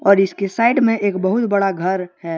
और इसकी साइड मे एक बहुत बडा घर है।